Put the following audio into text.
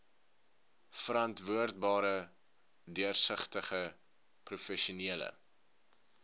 verantwoordbare deursigtige professionele